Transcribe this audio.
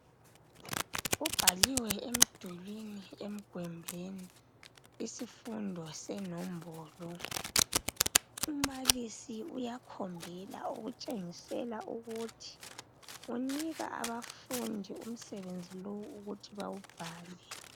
Kubhaliwe emdulwini emgwembeni isifundo senombolo umbalisi uyakhombela ukuthengisela ukuthi unika abafundi umsebenzi lowu ukuthi bawubhale